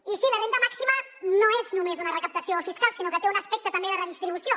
i sí la renda màxima no és només una recaptació fiscal sinó que té un aspecte també de redistribució